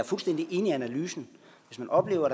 fuldstændig enig i analysen hvis man oplever